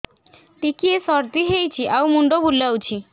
ଟିକିଏ ସର୍ଦ୍ଦି ହେଇଚି ଆଉ ମୁଣ୍ଡ ବୁଲାଉଛି